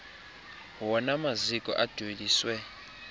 wona maziko adweliswe